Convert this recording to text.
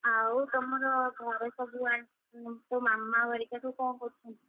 ଆଉ ତମର ଘରେ ସବୁ ଆ ତୋ ମାମା ହରିକା ସବୁ କଣ କରୁଛନ୍ତି?